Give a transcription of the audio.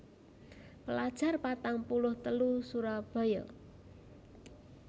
Pelajar patang puluh telu Surabaya